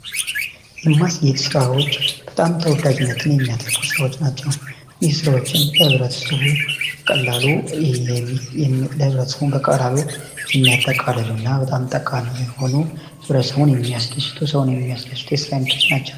የማስጌጥ ስራዎች በጣም ተወዳጅነትን የሚያተርፉ ስራዎች ናቸው። እነዚህ ስራዎችም ለህብረተሰቡ በቀላሉ የሚያጠቃልሉ እና በጣም ጠቃሚ የሆኑ ህብረተሰቡን የሚያስደስቱ ሰውን የሚያስደስቱ የስራ አይነቶች ናቸው።